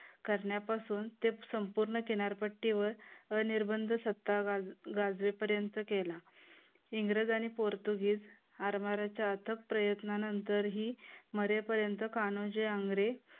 करण्यापासून तेच संपूर्ण किनारपट्टी वर अनिर्बंध सत्ता गाजवेपर्यंत केला. इंग्रज आणि पोर्तुगीज आरमाराच्या अथक प्रयत्नानंतरही मरेपर्यंत कान्होजी आंग्रे